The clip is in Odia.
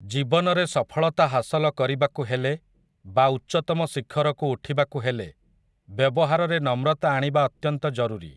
ଜୀବନରେ ସଫଳତା ହାସଲ କରିବାକୁ ହେଲେ ବା ଉଚ୍ଚତମ ଶିଖରକୁ ଉଠିବାକୁ ହେଲେ ବ୍ୟବହାରରେ ନମ୍ରତା ଆଣିବା ଅତ୍ୟନ୍ତ ଜରୁରୀ।